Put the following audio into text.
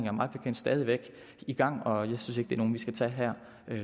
er mig bekendt stadig væk i gang og jeg synes ikke det er nogle vi skal tage her